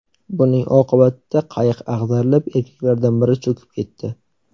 Buning oqibatida qayiq ag‘darilib, erkaklardan biri cho‘kib ketdi.